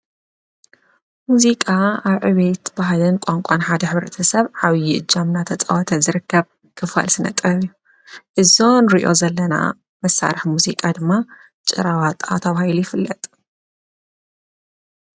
ሙዚቃ ኣዕቤት ባህልን ቋንቋን ሓድ ኅብርተ ሰብ ሓብዪ ጃምና ተጸወተት ዝርከብ ክፋል ስነጠ ዩ እዞን ርእዮ ዘለና መሳርሕ ሙዚቃ ድማ ጨራዋጥኣትውይሉ ይፍለጥ።